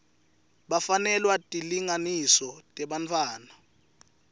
bafanelwa tilinganiso tebantfwana